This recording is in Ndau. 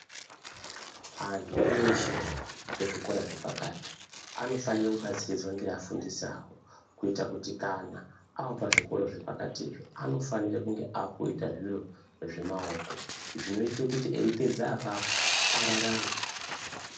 Antu eshe ezvikora zvepakati anofanire kubatsiridzwa ngeafundisi awo kuita kuti kana aapazvikora zvepakatizvo anofanire kunge aakuita zviro zvemaoko, zvinoite kuti eipedza apapo ararame.